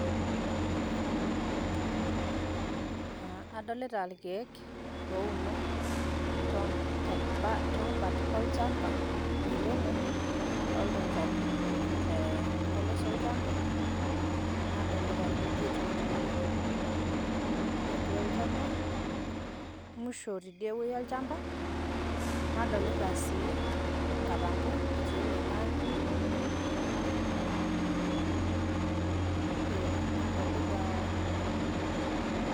adolita irkeek ouno, toombat olchampa, oiemo, adolita olchani ouno te mpolos olchampa, nadolita irkujit otii atua olchampa, musho tidie wueji olchampa. nadolita sii inkatambo etii oloingang'e, nadolitaa.